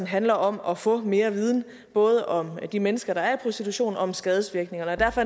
handler om at få mere viden både om de mennesker der er i prostitution og om skadevirkningerne derfor